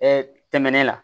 tɛmɛnen la